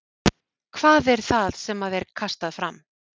Hvað er það sem að er kastað fram?